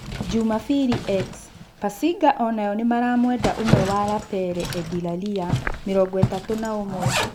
(Jumabiri Ex) Pasinga onayo nĩmaramũenda ũmwe wa Lapare Edie Lalia, mĩrongoĩtatu na-ũmwe.